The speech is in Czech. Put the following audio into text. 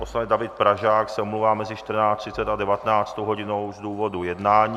Poslanec David Pražák se omlouvá mezi 14.30 a 19. hodinou z důvodu jednání.